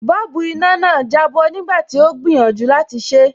Bọ́ọ̀bù iná náà jábọ́ nígbà tí ó gbìyànjú láti ṣé.